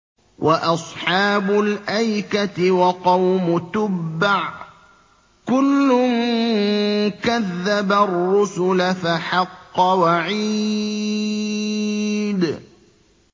وَأَصْحَابُ الْأَيْكَةِ وَقَوْمُ تُبَّعٍ ۚ كُلٌّ كَذَّبَ الرُّسُلَ فَحَقَّ وَعِيدِ